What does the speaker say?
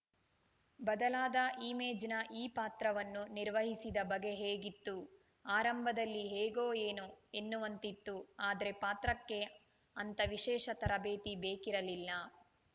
ಬದಲಾದ ಇಮೇಜ್‌ನ ಈ ಪಾತ್ರವನ್ನು ನಿರ್ವಹಿಸಿದ ಬಗೆ ಹೇಗಿತ್ತು ಆರಂಭದಲ್ಲಿ ಹೇಗೋ ಎನೋ ಎನ್ನುವಂತಿತ್ತು ಆದ್ರೆ ಪಾತ್ರಕ್ಕೆ ಅಂತ ವಿಶೇಷ ತರಬೇತಿ ಬೇಕಿರಲಿಲ್ಲ